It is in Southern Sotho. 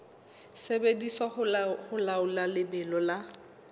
sebediswa ho laola lebelo la